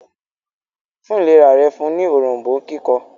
fún ìlera rẹ̀ fún ní Òrombó kíkan